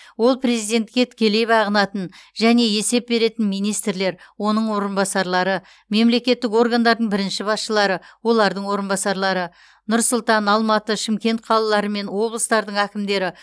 ол президентке тікелей бағынатын және есеп беретін министрлер оның орынбасарлары мемлекеттік органдардың бірінші басшылары олардың орынбасарлары нұр сұлтан алматы шымкент қалалары мен облыстардың әкімдері